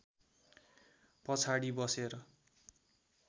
पछाडि बसेर